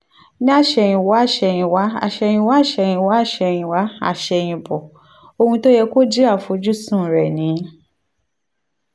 ní àsẹ̀yìnwá àsẹ̀yìnwá àsẹ̀yìnwá àsẹ̀yìnwá àsẹ̀yìnwá àsẹ̀yìnbọ̀ ohun tó yẹ kó jẹ́ àfojúsùn rẹ̀ ni